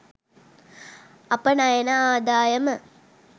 අපනයන ආදායම